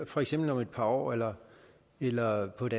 for eksempel om et par år eller eller på et